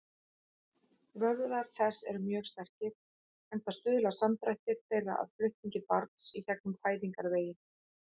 Vöðvar þess eru mjög sterkir, enda stuðla samdrættir þeirra að flutningi barns í gegnum fæðingarveginn.